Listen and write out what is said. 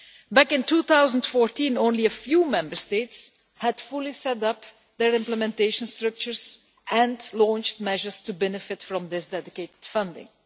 Back in 2014, only a few Member States had fully set up their implementation structures and launched measures to benefit from this dedicated funding.